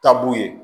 Taabu ye